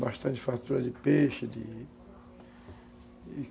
Bastante fartura de peixe, de